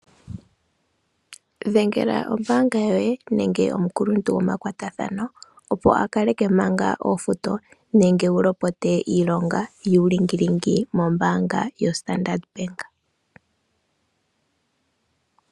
Dhengela ombaanga yoye nenge omukuluntu gomakwatathano opo akaleke manga ofuto nenge wulopote iilonga yuu lingilingi mombaanga yositandeleti benge.